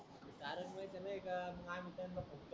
R